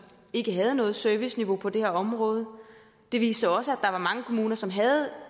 ikke havde noget serviceniveau på det her område den viste også at var mange kommuner som havde